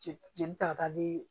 Jeli jelita baden de